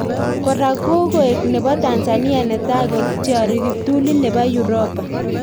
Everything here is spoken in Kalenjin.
Kora kokoek Nepo Tanzania netai kotyari kiptulit nepo Europa